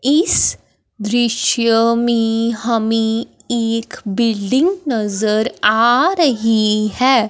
इस दृश्य में हमें एक बिल्डिंग नजर आ रही हैं।